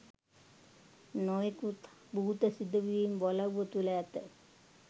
නොයෙකුත් භූත සිදුවීම් වලව්ව තුළ ඇත